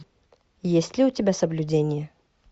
есть ли у тебя соблюдение